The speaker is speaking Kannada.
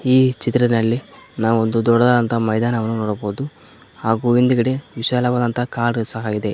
ಈ ಚಿತ್ರದಲ್ಲಿ ನಾವು ಒಂದು ದೊಡ್ಡದಾದಂತ ಮೈದಾನವನ್ನು ನೋಡಬಹುದು ಹಾಗು ಹಿಂದ್ಗಡೆ ವಿಶಾಲವಾದಂತ ಕಾಡು ಸಹ ಇದೆ.